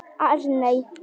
Arney